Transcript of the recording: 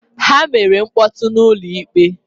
Ha mere mkpọtụ n'ụlọ ikpe